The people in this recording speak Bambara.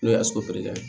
N'o ye ye